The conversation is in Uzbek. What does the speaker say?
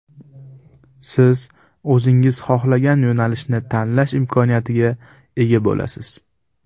Siz o‘zingiz xohlagan yo‘nalishni tanlash imkoniyatiga ega bo‘lasiz!